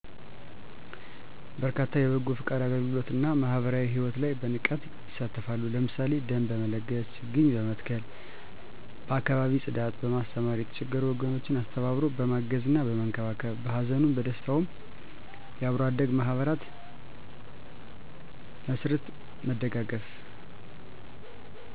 በርካታ የበጎ ፈቃድ አገልግሎት እና ማህበራዊ ሕይወት ላይ በንቃት ይሳተፋሉ። ለምሳሌ ደም በመለገስ፣ ችግኝ በመትከል፣ በአካባቢ ፅዳት፣ በማስተማር፣ የተቸገሩ ወገኖችን አስተባብሮ በማገዝና በመንከባከብ፣ በሀዘኑም በደስታውም የአብሮ አደግ ማህበር መስርት መደጋገፍ